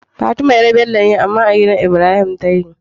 Fatima yar Bello ce amma a gidan Ibrahim take